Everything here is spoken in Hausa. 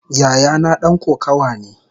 Yayana dan kokawa ne.